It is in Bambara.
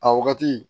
A wagati